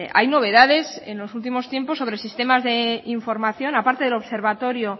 hay novedades en los últimos tiempos sobre sistemas de información a parte del observatorio